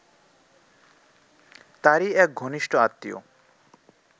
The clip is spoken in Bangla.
তারই এক ঘনিষ্ট আত্মীয়